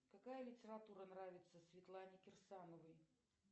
какая литература нравится светлане кирсановой